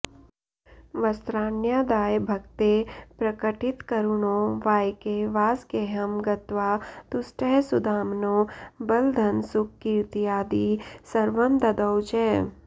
वस्त्राण्यादाय भक्ते प्रकटितकरुणो वायके वासगेहं गत्वा तुष्टः सुदाम्नो बलधनसुखकीर्त्यादि सर्वं ददौ च